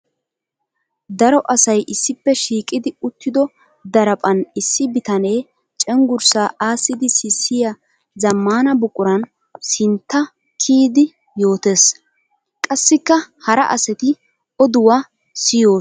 Daro asay issippe shiiqiddi uttiddo daraphphan issi bitane cenggurssa aasiddi sissiya zamaana buquran sintta kiyiddi yootees. Qassikka hara asatti oduwa siyossonna.